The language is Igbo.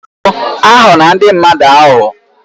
Biko aghọla ndị mmadụ aghụghọ.